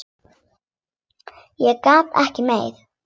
Ég get ekki meira.